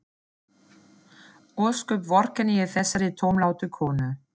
Ósköp vorkenni ég þessari tómlátu konu.